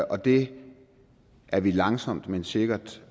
og det er vi langsomt men sikkert